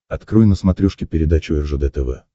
открой на смотрешке передачу ржд тв